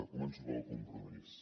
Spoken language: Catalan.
començo pel compromís